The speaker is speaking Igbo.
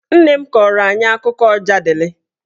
Nne m kọọrọ anyị akụkọ Ọjadịlị